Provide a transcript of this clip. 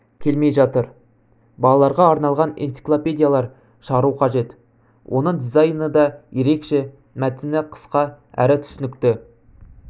келмей жатыр балаларға арналған энциклопедиялар шығару қажет оның дизайны да ерекше мәтіні қысқа әрі түсінікті